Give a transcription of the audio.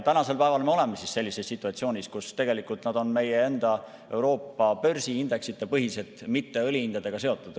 Tänasel päeval me oleme sellises situatsioonis, kus nad on meie enda Euroopa börsiindeksite põhised, mitte õlihindadega seotud.